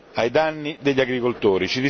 ai danni degli agricoltori.